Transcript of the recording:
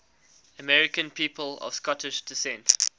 american people of scottish descent